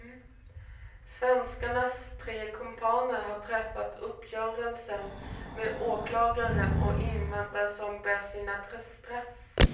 Svenskens tre kumpaner har träffat uppgörelser med åklagaren och inväntar som bäst sina straff.